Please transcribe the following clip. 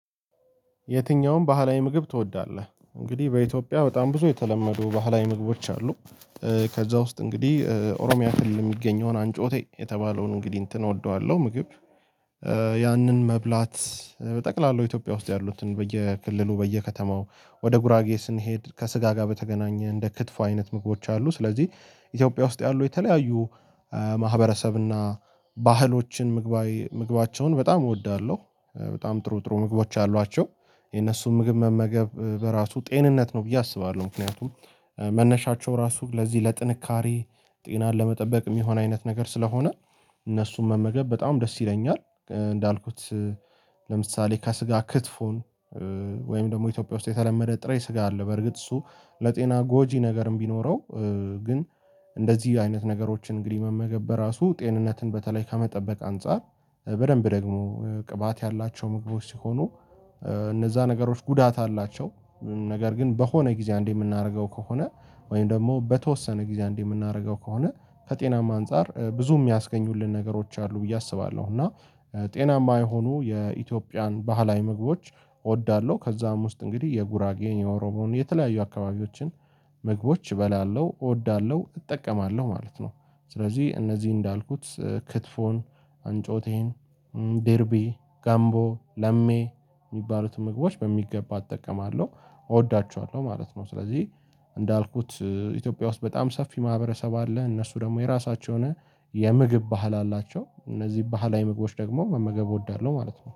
የትኛውም ባህላዊ ምግብ ትወዳለህ? እንግዲህ በኢትዮጵያ በጣም ብዙ የተለመዱ ባህላዊ ምግቦች አሉ። ከዛ ውስጥ እንግዲህ ኦሮሚያ ክልል የሚገኘውን አንጮቴ የተባለውን እንግዲህ እንትን እወደዋለሁ ምግብ። ያንን መብላት በጠቅላላው ኢትዮጵያ ውስጥ ያሉትን በየክልሉ በየከተማው ወደ ጉራጌ ስንሄድ ከስጋ ጋር በተገናኘ እንደ ክትፉ አይነት ምግቦች አሉ ስለዚህ። ኢትዮጵያ ውስጥ ያሉ የተለያዩ ማህበረሰብ እና ባህሎችን ምግባቸውን በጣም እወዳለሁ በጣም ጥሩ ጥሩ ምግቦች አሏቸው። የነሱን ምግብ መመገብ በራሱ ጤንነት ነው ብዬ አስባለሁ። ምክንያቱም መነሻቸው ራሱ ለዚህ ለጥንካሬ ጤናን ለመጠበቅ የሚሆን አይነት ነገር ስለሆነ እነሱም መመገብ በጣም ደስ ይለኛል። እንዳልኩት ለምሳሌ ከስጋ ክትፎን ወይም ደግሞ ኢትዮጵያ ውስጥ የተለመደ ጥሬ ስጋ አለ። በርግጥ እሱ ለጤና ጎጂ ነገርም ቢኖረው ግን እንደዚህ አይነት ነገሮችን እንግዲህ መመገብ በራሱ ጤንነትን በተለይ ከመጠበቅ አንፃር በደንብ ደግሞ ቅባት ያላቸው ምግቦች ሲሆኑ እነዛ ነገሮች ጉዳት አላቸው። ነገር ግን በሆነ ጊዜ አንዴ የምናደርገው ከሆነ ወይም ደግሞ በተወሰነ ጊዜ አንዴ የምናደርገው ከሆነ ከጤናማ አንፃር ብዙ የሚያስገኙልን ነገሮች አሉ ብዬ አስባለሁ። እና ጤናማ የሆኑ የኢትዮጵያን ባህላዊ ምግቦች እወዳለሁ። ከዛም ውስጥ እንግዲህ የጉራጌ የኦሮሞን የተለያዩ አካባቢዎችን ምግቦች እበላለሁ እወዳለሁ እጠቀማለሁ ማለት ነው። ስለዚህ እነዚህ እንዳልኩት ክትፎን አንጮቴን ዴርቢ ጋምቦ ለሜ የሚባሉትን ምግቦች በሚገባ እጠቀማለሁ እወዳቸዋለሁ ማለት ነው። ስለዚህ እንዳልኩት ኢትዮጵያ ውስጥ በጣም ሰፊ ማህበረሰብ አለ እነሱ ደግሞ የራሳቸውን የምግብ ባህል አላቸው። እነዚህ ባህላዊ ምግቦች ደግሞ መመገብ እወዳለሁ ማለት ነው